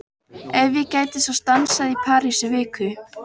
Ef ég gæti svo stansað í París í viku?